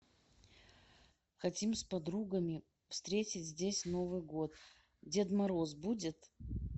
хотим с подругами встретить здесь новый год дед мороз будет